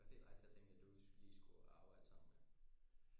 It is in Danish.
Hvad fik dig til at tænke at du skulle lige skulle arbejde som øh